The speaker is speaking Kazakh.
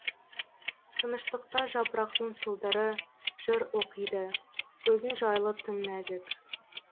тыныштықта жапырақтың сылдыры жыр оқиды өзің жайлы тым нәзік